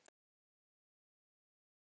Fara heim?